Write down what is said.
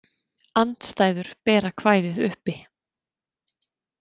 Andstæður bera kvæðið uppi.